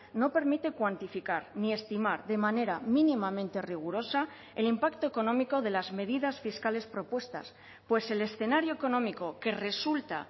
no permite cuantificar ni estimar de manera mínimamente rigurosa el impacto económico de las medidas fiscales propuestas pues el escenario económico que resulta